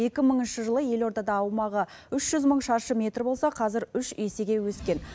екі мыңыншы жылы елордада аумағы үш жүз мың шаршы метр болса қазір үш есеге өскен